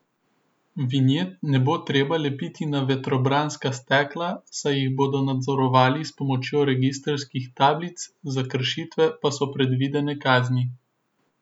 Vinjet ne bo treba lepiti na vetrobranska stekla, saj jih bodo nadzorovali s pomočjo registrskih tablic, za kršitve pa so predvidene kazni.